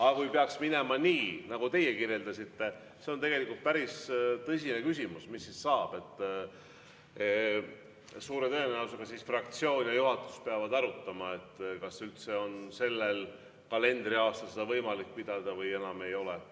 Aga kui peaks minema nii, nagu teie kirjeldasite – see on tegelikult päris tõsine küsimus, mis siis saab –, siis suure tõenäosusega fraktsioon ja juhatus peavad arutama, kas üldse on sellel kalendriaastal võimalik seda arutelu pidada või enam ei ole.